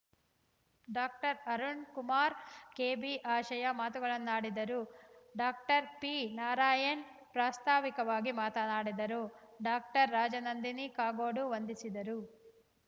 doctor Arunkumar KB ಆಶಯ ಮಾತುಗಳನ್ನಾಡಿದರು doctor P Narayan ಪ್ರಾಸ್ತಾವಿಕವಾಗಿ ಮಾತನಾಡಿದರು ಡಾಕ್ಟರ್ ರಾಜನಂದಿನಿ ಕಾಗೋಡು ವಂದಿಸಿದರು